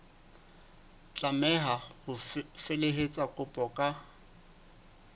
tlameha ho felehetsa kopo ka